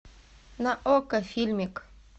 на окко фильмик